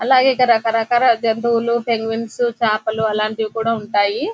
అలాగే ఇక్కడ రకరకాల జంతువులు పెంగ్విన్స్ చాపలు అలాంటివి కూడా ఉంటాయి.